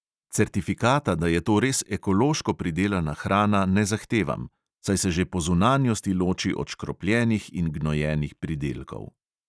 Certifikata, da je to res ekološko pridelana hrana, ne zahtevam, saj se že po zunanjosti loči od škropljenih in gnojenih pridelkov.